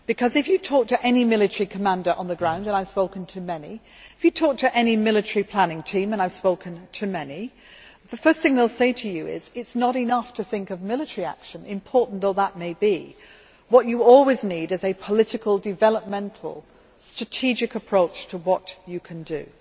If you talk to any military commander on the ground and I have spoken to many and if you talk to any military planning team and I have spoken to many the first thing that they will say to you is that it is not enough to think of military action, important though that may be. What you always need is a political, developmental, strategic approach to what you can do.